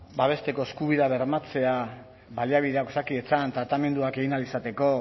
babesteko eskubidea bermatzea baliabideak osakidetzan tratamenduak egin ahal izateko